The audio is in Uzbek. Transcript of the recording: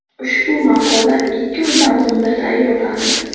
Ushbu maqola ikki oy davomida tayyorlandi.